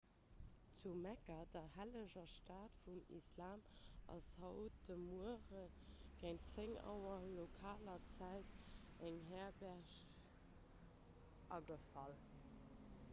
zu mekka der helleger stad vum islam ass haut de muere géint 10 auer lokaler zäit eng herberg agefall